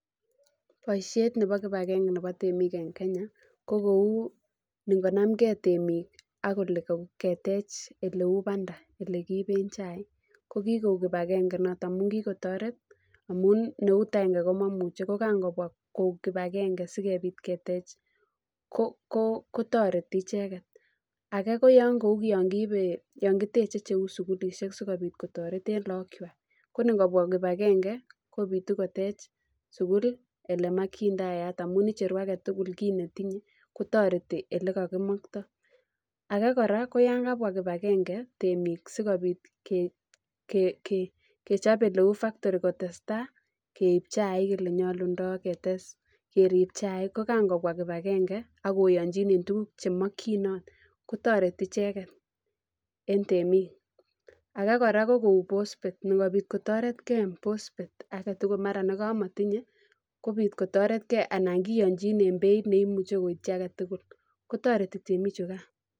Boishet nebo kibagenge nebo temik en Kenya ko kou ingonamkei temik ak kele keteche oleu bandana olekiben chaik ko kikoik kibagenge noton amun kikotoret amun eut aenge ko momuche ko kan kobwa koik kibagenge sikobit ketech kotoret icheket ake ko kou yo kibe yon kitchen cheu sukulishek sikobit kotoret en lokchwak ko ikobwaa kibagenge kobitu ketech sukulit amakat amun icheru aketukul kit netinye kotorit olekakimotoi ake kora ko yan kabwa kibagenge temik sikobit kechob oleu baktori kotestai keib chaik ak ketes jerib chaik ko kan kobwa kibagenge ak loyochin en tuguk chemikyino kotireti icheket en temik ake kora ko kou bosbet kotoret kei en bosbet aketukul akot nekamotinye kobit kotoretkei anan kiyochin en beit ne imuche koityi aketukul kotoreti temichukan.